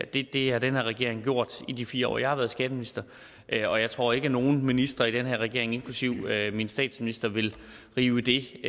det har den her regering gjort i de fire år jeg har været skatteminister og jeg tror ikke at nogen minister i den her regering inklusive min statsminister vil rive det